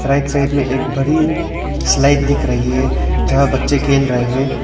Right side में एक बड़ी स्लाइड दिख रही है जहां बच्चे खेल रहे हैं।